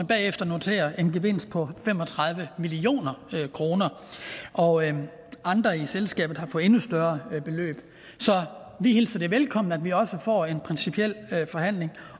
bagefter notere en gevinst på fem og tredive million kr og andre i selskabet har fået endnu større beløb så vi hilser det velkommen at vi også får en principiel forhandling